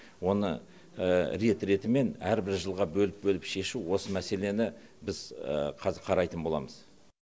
оны рет ретімен әрбір жылға бөліп бөліп шешу осы мәселені біз қазір қарайтын боламыз